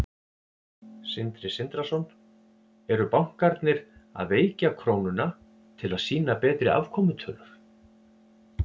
Sindri Sindrason: Eru bankarnir að veikja krónuna til að sýna betri afkomutölur?